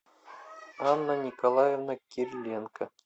анна николаевна кириленко